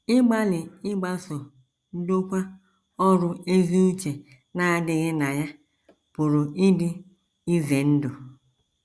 Ịgbalị ịgbaso ndokwa ọrụ ezi uche na -- adịghị na ya pụrụ ịdị ize ndụ.